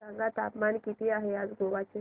सांगा तापमान किती आहे आज गोवा चे